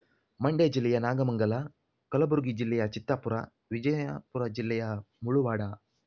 ಮಂಡ್ಯ ಜಿಲ್ಲೆಯ ನಾಗಮಂಗಲ ಕಲಬುರಗಿ ಜಿಲ್ಲೆಯ ಚಿತ್ತಾಪುರ ವಿಜಯಪುರ ಜಿಲ್ಲೆಯ ಮುಳವಾಡ